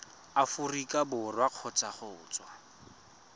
aforika borwa kgotsa go tswa